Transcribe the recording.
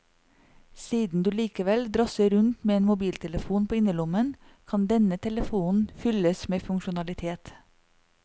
Siden du likevel drasser rundt med en mobiltelefon på innerlommen, kan denne telefonen fylles med funksjonalitet.